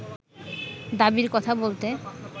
দাবীর কথা বলতে